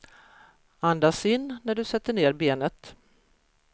Andas in när du sätter ner benet.